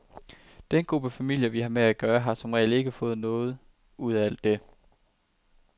Den gruppe familier, vi har med at gøre, har som regel ikke fået noget ud af alt det.